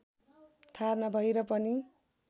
थाहा नभएर पनि